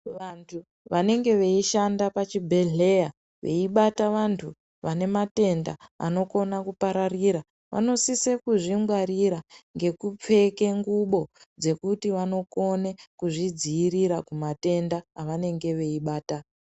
Vantu vanenge veishanda pachibhedhleya veibata vantu venematenda anokona kupararira vanosise kuzvingwarira nekupfeke ngubo dzekuti vanokone kuzvidziwirira kumatenda avanenge veibata.